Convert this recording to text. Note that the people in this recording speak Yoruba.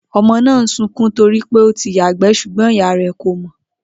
O̩mo̩ náà ń sunkún to rí pé ó ti yàgbé̩ s̩ùgbó̩n ìyá rè̩ kò mò̩